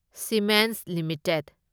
Siemens limited